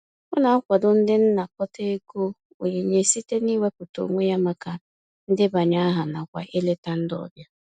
Ọ na-akwado ndị nnakọta ego onyinye site n'iwepụta onwe ya maka ndebanye aha nakwa ileta ndị ọbịa.